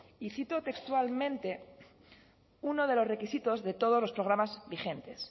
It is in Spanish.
y cito textualmente uno de los requisitos de todos los programas vigentes